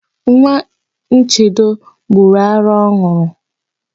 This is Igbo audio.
Nwa Nchedo gbọrọ ara ọ n̄ụrụ.